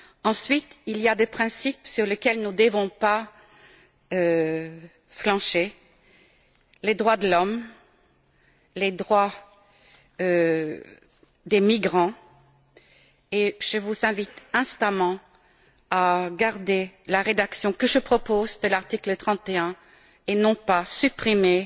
là. Ensuite, il y a des principes sur lesquels nous ne devons pas flancher les droits de l'homme, les droits des migrants, et je vous invite instamment à conserver la rédaction que je propose de l'article 31 plutôt que de supprimer